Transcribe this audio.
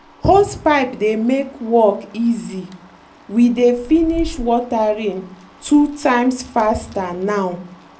hosepipe dey make work easy—we dey finish watering two times faster now.